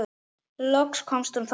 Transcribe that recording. Loks komst hún þó að.